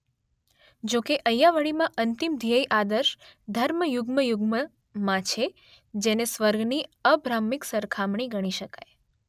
જો કે અય્યાવળીમાં અંતિમ ધ્યેય આદર્શ ધર્મ યુગ્મ યુગ્મમાં છે જેને સ્વર્ગની અબ્રાહ્મિક સરખામણી ગણી શકાય